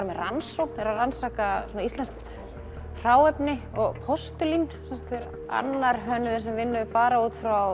með rannsókn eru að rannsaka íslenskt hráefni og postulín annar hönnuður sem vinnur bara út frá